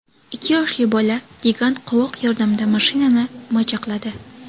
Ikki yoshli bola gigant qovoq yordamida mashinani majaqladi.